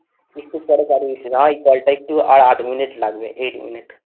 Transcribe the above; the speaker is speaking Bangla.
একটু পরে পাঠিয়ে দিচ্ছি ভাই call টা একটু আর আট মিনিট লাগবে eight মিনিট